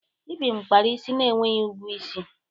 Ibim kpara isi na-enweghị ugwu isi.